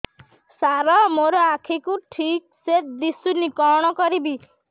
ସାର ମୋର ଆଖି କୁ ଠିକସେ ଦିଶୁନି କଣ କରିବି